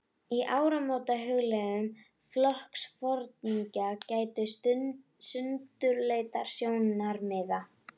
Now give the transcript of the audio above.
Í áramótahugleiðingum flokksforingjanna gætti sundurleitra sjónarmiða.